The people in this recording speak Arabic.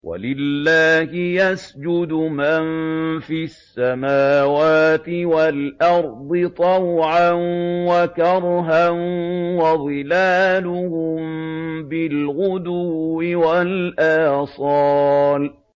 وَلِلَّهِ يَسْجُدُ مَن فِي السَّمَاوَاتِ وَالْأَرْضِ طَوْعًا وَكَرْهًا وَظِلَالُهُم بِالْغُدُوِّ وَالْآصَالِ ۩